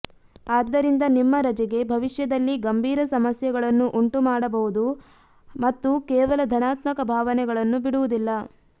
ಆದ್ದರಿಂದ ನಿಮ್ಮ ರಜೆಗೆ ಭವಿಷ್ಯದಲ್ಲಿ ಗಂಭೀರ ಸಮಸ್ಯೆಗಳನ್ನು ಉಂಟುಮಾಡಬಹುದು ಮತ್ತು ಕೇವಲ ಧನಾತ್ಮಕ ಭಾವನೆಗಳನ್ನು ಬಿಡುವುದಿಲ್ಲ